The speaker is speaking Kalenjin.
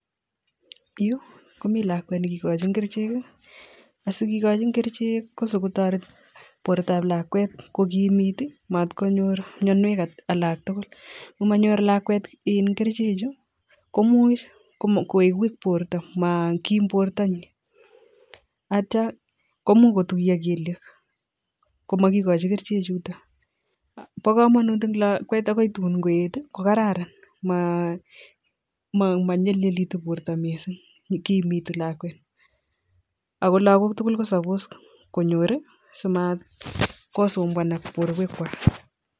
Yu komi lakwet ne kikochin kerchek, asikekochin kerchek si kotoret bortab lakwet ko kimit matkonyor mianwek alaktugul. Ngomanyor lakwet kerchechu komuch koek weak borta, maakim bortanyin atya komuch kotuya kelyek komakikochi kerchechuto, bo kamanut en lakwet akon tun koet ko kararan manyalilitu borta mising, kiimitu lakwet ako lakwet tugul ko suppose konyor simakusumbuan borwekwak.